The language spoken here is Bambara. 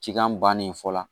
Cikan bannen fɔ la